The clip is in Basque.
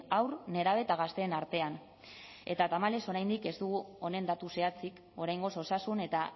haur nerabe eta gazteen artean eta tamalez oraindik ez dugu honen datu zehatzik oraingoz osasun eta